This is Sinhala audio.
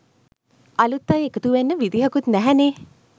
අලුත් අය එකතුවෙන්න විදිහකුත් නැහැනේ.